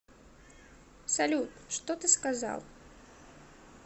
салют что ты сказал